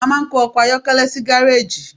a ma n kó ọkọ ayọkẹlẹ sí gareji.